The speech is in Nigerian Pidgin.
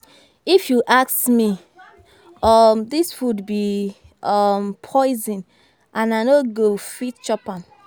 If you ask me, um dis food be um poison and I no go fit chop am